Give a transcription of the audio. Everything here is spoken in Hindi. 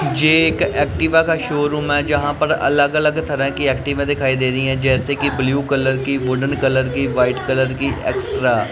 जे एक एक्टिवा का शोरूम है जहां पर अलग अलग तरह की एक्टिवा दिखाई दे रही है जैसे कि ब्ल्यू कलर की वुडन कलर की वाइट कलर की एक्स्ट्रा --